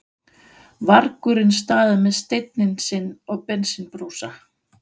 vargurinn staðið með steininn sinn og bensínbrúsa.